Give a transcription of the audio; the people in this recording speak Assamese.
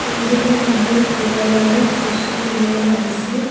কেইজনমান মানুহ দোকানলৈ বস্তু কিনিবলৈ আহিছে।